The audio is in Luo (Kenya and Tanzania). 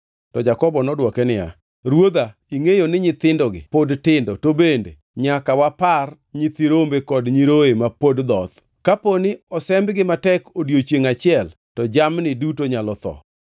To Jakobo nodwoke niya, “Ruodha, ingʼeyo ni nyithindogi pod tindo to bende nyaka wapar nyithi rombe kod nyiroye ma pod dhoth. Kaponi osembgi matek odiechiengʼ achiel to jamni duto nyalo tho.